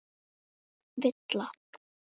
Villa